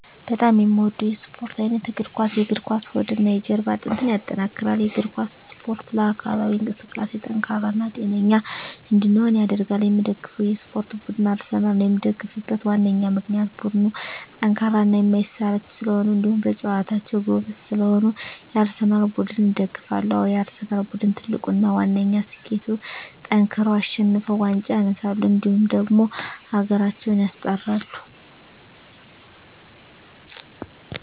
በጣም የምወደው የስፓርት አይነት የእግር ኳስ። የእግር ኳስ የሆድና የጀርባ አጥንትን ያጠነክራል። የእግር ኳስ እስፖርት ለአካላዊ እንቅስቃሴ ጠንካራ እና ጤነኛ እንድንሆን ያደርጋል። የምደግፈው የስፓርት ቡድን አርሰናል ነው። የምደግፍበት ዋነኛ ምክንያት ቡድኑ ጠንካራና የማይሰለች ስለሆኑ እንዲሁም በጨዋታቸው ጎበዝ ስለሆኑ የአርሰናል ቡድንን እደግፋለሁ። አዎ የአርሰናል ቡድን ትልቁና ዋነኛ ስኬቱጠንክረው አሸንፈው ዋንጫ ያነሳሉ እንዲሁም ደግሞ ሀገራችንም ያስጠራሉ።